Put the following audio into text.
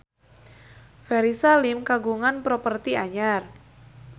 Ferry Salim kagungan properti anyar